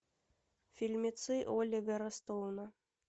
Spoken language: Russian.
фильмецы оливера стоуна